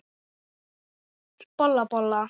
Bolla, bolla!